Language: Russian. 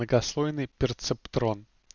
многослойный перцептрон